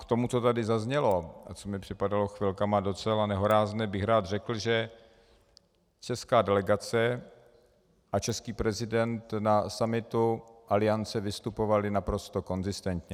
K tomu, co tady zaznělo a co mi připadalo chvilkami docela nehorázné, bych rád řekl, že česká delegace a český prezident na summitu Aliance vystupovali naprosto konzistentně.